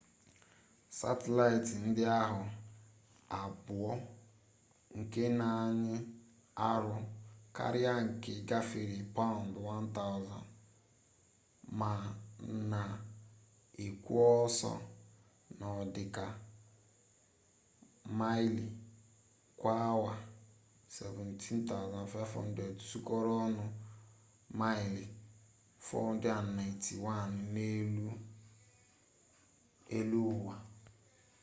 satịlaịtị ndị ahụ abụọ nke na-anyị arụ karịa nke gafere paụnd 1,000 ma na-ekwo ọsọ n'ọdịka maịlị kwa awa 17,500 sukọrọ ọnụ maịlị 491 n'elu eluụwa